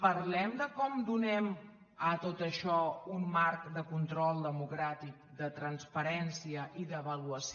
parlem de com donem a tot això un marc de control democràtic de transparència i d’avaluació